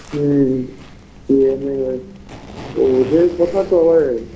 হুম কি ওদের কথাতো আবার